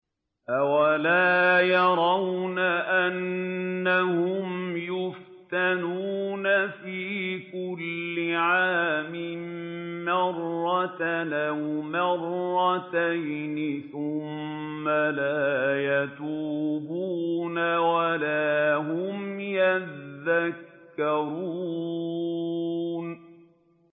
أَوَلَا يَرَوْنَ أَنَّهُمْ يُفْتَنُونَ فِي كُلِّ عَامٍ مَّرَّةً أَوْ مَرَّتَيْنِ ثُمَّ لَا يَتُوبُونَ وَلَا هُمْ يَذَّكَّرُونَ